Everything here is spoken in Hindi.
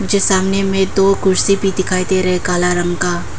जो सामने में दो कुर्सी भी दिखाई दे रहा है काला रंग का।